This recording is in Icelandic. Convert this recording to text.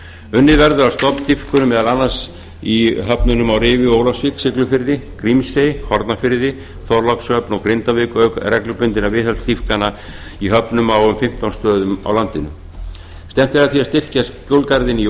unnið verður að stofndýpkunum meðal annars í höfnunum á rifi ólafsvík siglufirði grímsey hornafirði þorlákshöfn og grindavík auk reglubundinna viðhaldsdýpkana í höfnum á um fimmtán stöðum á landinu stefnt er að því að styrkja flóðgarðinn